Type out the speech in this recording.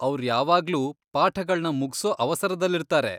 ಅವ್ರ್ ಯಾವಾಗ್ಲೂ ಪಾಠಗಳ್ನ ಮುಗ್ಸೋ ಅವಸರದಲ್ಲಿರ್ತಾರೆ.